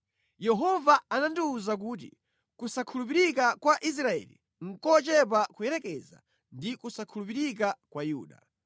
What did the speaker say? Yehova anandiwuza kuti, “Kusakhulupirika kwa Israeli nʼkochepa kuyerekeza ndi kusakhulupirika kwa Yuda.